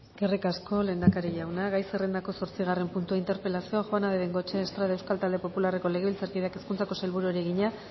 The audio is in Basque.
eskerrik asko lehendakari jauna gai zerrendako zortzigarren puntua interpelazioa juana de bengoechea estrade euskal talde popularreko legebiltzarkideak hezkuntzako sailburuari egina